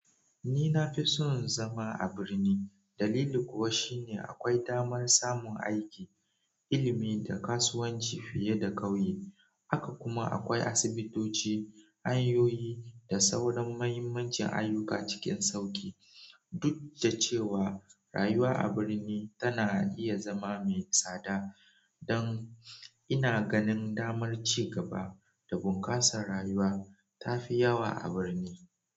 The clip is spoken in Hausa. Ni na fi son zama a birni, dalili kuwa shine akwai damar samun aiki, ilimi da kasuwanci fiye da ƙauye. Haka kuma akwai asibitoci, hanyoyi da sauran muhimmancin ayyuka cikin sauƙi. Duk da cewa rayuwa a birni tana iya zama mai tsada, dan ina ganin damar ci gaba da bunƙasa rayuwa ta fi yawa a birni.